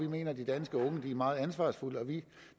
vi mener at de danske unge er meget ansvarsfulde og vi